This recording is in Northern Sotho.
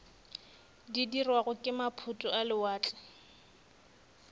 dirwago ke maphoto a lewatle